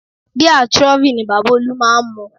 Bíà Trophy ni Bàbá olú máa ń mu